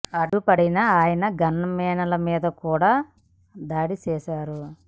అడ్డుపడిన ఆయన gunmen ల మీద కూడా దాడి చేశారు